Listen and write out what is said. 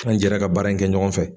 An jɛra ka baara in kɛ ɲɔgɔn fɛ.